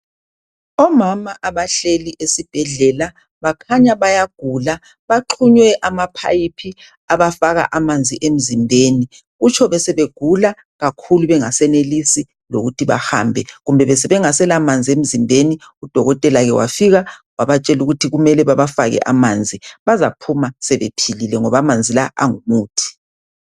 Omama abahleli esibhedlela bakhanya bayagula baxhunywe amaphayiphi abafaka amanzi emzimbeni. Kutsho besebegula kakhulu bengasenelisi lokuthi bahambe kumbe besebengaselamanzi emzimbeni udokotela ke wafika wabatshela ukuthi kumele babafake amanzi. Bazaphuma sebephilile ngoba amanzi la angumuthi.